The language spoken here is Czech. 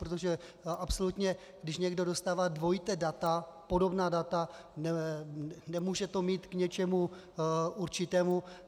Protože absolutně když někdo dostává dvojitá data, podobná data, nemůže to mít k něčemu určitému.